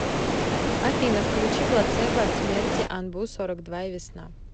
афина включи плацебо от смерти анбу сорок два и весна